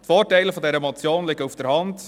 Die Vorteile dieser Motion liegen auf der Hand: